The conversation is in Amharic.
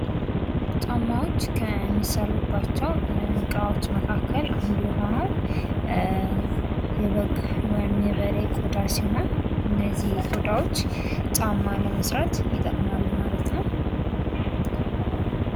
ጫማዎች ከሚሰሩባቸው እቃዎች መካከል አንዱ የሆነው የበግ ወይም የበሬ ቆዳ ሲሆን እነዚህ ቆዳዎች ጫማ ለመስራት ይጠቅማሉ ማለት ነው።